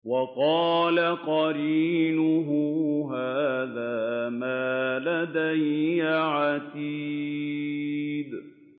وَقَالَ قَرِينُهُ هَٰذَا مَا لَدَيَّ عَتِيدٌ